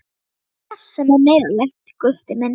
Það er margt sem er neyðarlegt, Gutti minn.